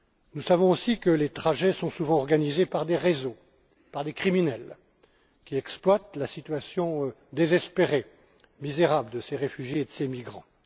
Nous savons aussi que les trajets sont souvent organisés par des réseaux, par des criminels, qui exploitent la situation désespérée et misérable de ces réfugiés et de ces migrants.